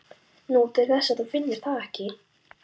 Nú, til þess að þú finnir það ekki.